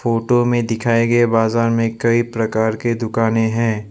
Photo में दिखाए गए बाजार में कई प्रकार के दुकाने हैं।